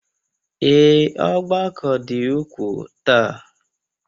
Ee, ọgbakọ dị ukwuu taa